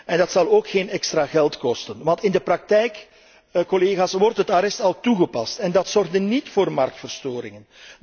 En dat zal ook geen extra geld kosten, want in de praktijk, collega's, wordt het arrest al toegepast en dat zorgde niet voor marktverstoringen.